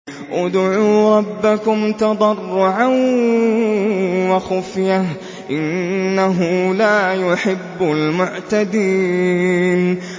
ادْعُوا رَبَّكُمْ تَضَرُّعًا وَخُفْيَةً ۚ إِنَّهُ لَا يُحِبُّ الْمُعْتَدِينَ